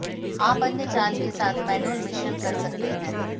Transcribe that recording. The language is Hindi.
आप अन्य चाल के साथ मैनुअल मिश्रण कर सकते हैं